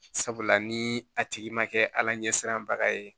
Sabula ni a tigi ma kɛ ala ɲɛ siranbaga ye